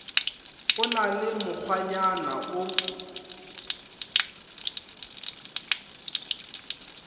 o na le mokgwanyana o